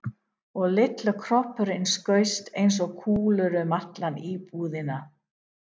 Og litli kroppurinn skaust eins og kúla um alla íbúðina.